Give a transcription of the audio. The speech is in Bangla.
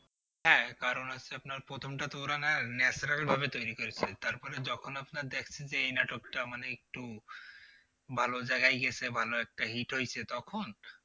না প্রথমটা তো ওরা না natural ভাবে তৈরি করেছে তারপরে যখন আপনার দেখছেন যে এই নাটকটা মানে একটু ভালো জায়গায় গেছে ভালো একটা hit হয়েছে তখন